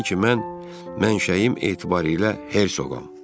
Bilin ki, mən mənşəyim etibarı ilə Hersoğam.